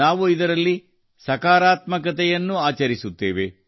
ನಾವು ಇದರಲ್ಲಿ ಸಕಾರಾತ್ಮಕತೆಯನ್ನು ಆಚರಿಸುತ್ತೇವೆ